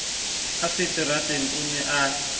a seterateng a ne a